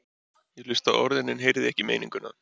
Ég hlustaði á orðin en heyrði ekki meininguna.